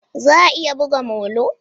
Za a iya buga molo?